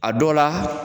A dɔ la